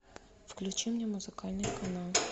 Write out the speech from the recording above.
включи мне музыкальный канал